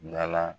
Da la